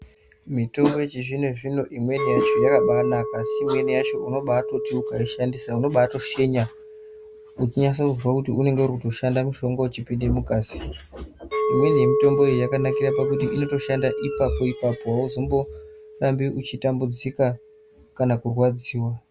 Mitombo yechizvino zvino imweni yacho yakabaanaka imweni yacho unobatoti ukaishandisa unobatoshenya wechinase kuzwe unenge uri kutoshanda mushonga uchipinde mungazi imweni yemitomboyi Yakanakira pakuti inotoshanda ipapo ipapo auzomborambi uchitambudzika kana kurwadziwa.